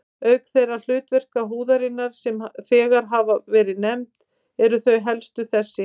Auk þeirra hlutverka húðarinnar, sem þegar hafa verið nefnd, eru þau helstu þessi